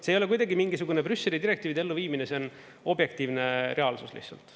See ei ole kuidagi mingisugune Brüsseli direktiivide elluviimine, see on objektiivne reaalsus lihtsalt.